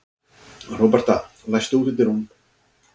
Róberta, læstu útidyrunum.